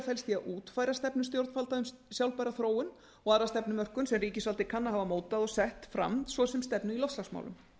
felst í að útfæra stefnu stjórnvalda um sjálfbæra þróun og aðra stefnumörkun sem ríkisvaldið kann að hafa mótað og sett fram svo sem stefnu í loftslagsmálum